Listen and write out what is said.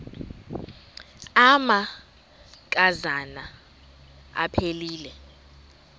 amanka zana aphilele